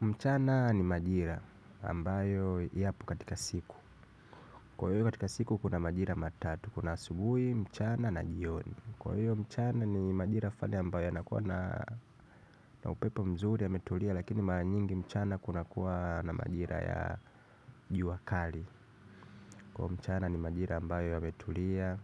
Mchana ni majira ambayo yapo katika siku. Kwa hiyo, katika siku kuna majira matatu, kuna asubuhi, mchana na jioni. Kwa hiyo mchana ni majira fulani ambayo yanakuwa na upepo mzuri yametulia lakini mara nyingi mchana kunakuwa na majira ya jua kali. Kwa hiyo mchana ni majira ambayo yametulia